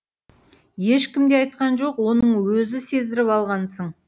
ешкім де айтқан жоқ оны өзі сездіріп алғансың